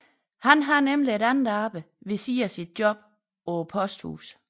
Han har nemlig et andet arbejde ved siden af sit job på posthuset